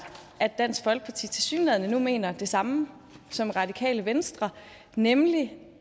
at dansk folkeparti tilsyneladende nu mener det samme som radikale venstre nemlig